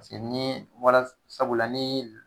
Paseke ni bɔla sabula la ni